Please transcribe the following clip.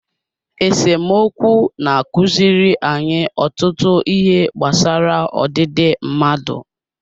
Esemokwu na-akụziri anyị ọtụtụ ihe gbasara ọdịdị mmadụ